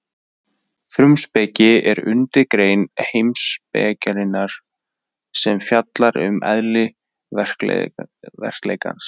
Frumspeki er undirgrein heimspekinnar sem fjallar um eðli veruleikans.